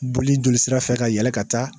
Boli jolisira fɛ ka yɛlɛn ka taa